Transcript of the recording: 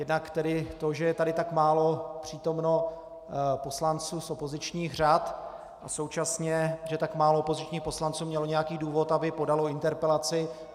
Jednak to, že je tady tak málo přítomno poslanců z opozičních řad, a současně že tak málo opozičních poslanců mělo nějaký důvod, aby podalo interpelaci.